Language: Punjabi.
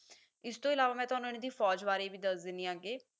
ਇਸਤੋਂ ਇਲਾਵਾ ਮੈਂ ਤੁਹਾਨੂੰ ਇਹਨਾਂ ਦੀ ਫੌਜ ਬਾਰੇ ਵੀ ਦੱਸ ਦੇਣੀ ਆ ਅੱਗੇ